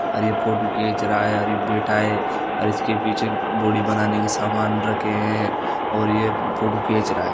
और ये फोटो खेच रहा है और ये बेठा है और इसके पीछे बॉडी बनाने के सामान रखे है और ये फोटू खीच रहा है।